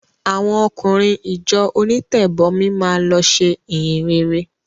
Àwọn ọkùnrin ìjọ onítẹ̀bọmi máa lọ ṣe ìhìnrere.